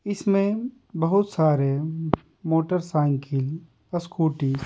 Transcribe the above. इसमें बहुत सारे मोटरसाइकिल स्कूटी --